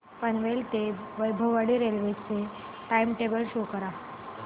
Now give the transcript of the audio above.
पनवेल ते वैभववाडी रेल्वे चे time table show करा